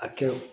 A kɛ o